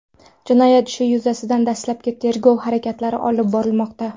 Jinoyat ishi yuzasidan dastlabki tergov harakatlari olib borilmoqda.